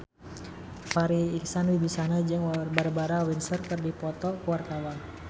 Farri Icksan Wibisana jeung Barbara Windsor keur dipoto ku wartawan